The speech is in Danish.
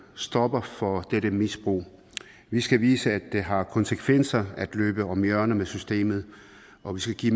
stopper for dette misbrug vi skal vise at det har konsekvenser at løbe om hjørner med systemet og vi skal give